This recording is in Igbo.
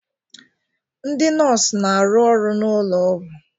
Ndị nọọsụ na-arụ ọrụ n'ụlọ ọgwụ